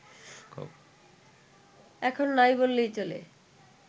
এখন নাই বললেই চলে